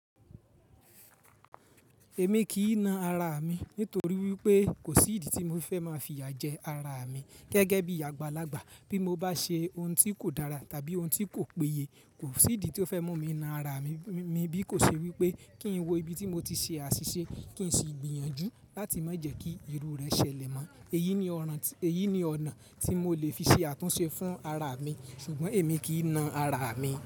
Èmi kì í na ara mi nítorí wípé kò sí ìdí tí mo fẹ́ máa fi ya jẹ ara mi gẹ́gẹ́ bí àgbàlagbà. Bí mo bá ṣe ohun tí kò dára tàbí ohun tí kò péye, kò sí ìdí tí ó fẹ́ mú mi na ara mi. Mi bí kò ṣe wípé kí n wo ibi tí mo ti ṣe àṣìṣe kí n sì gbìyànjú láti má jẹ́ kí irú rẹ̀ ṣẹlẹ̀ mọ́. Èyí ni ọ̀nà, èyí ni ọ̀nà tí mo lè fi ṣe àtúnṣe fún ara mi ṣùgbọ́n èmi kì í na ara mi.